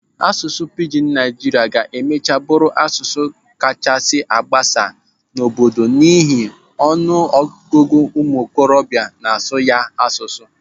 Asụsụ Pijin Naijiria ga-emachaa bụrụ asụsụ kachasị gbasaa n'obodo a n'ihi ọnụ ọgụgụ ụmụ ntorobịa n'asụ ya asụsụ.